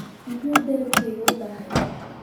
muxuu dalabkaygu u daahay?